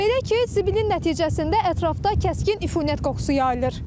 Belə ki, zibilin nəticəsində ətrafda kəskin iyinət qoxusu yayılır.